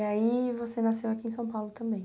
E aí você nasceu aqui em São Paulo também?